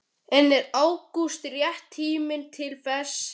En er ágúst rétti tíminn til þess?